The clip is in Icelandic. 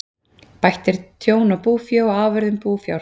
Bætt er tjón á búfé og afurðum búfjár.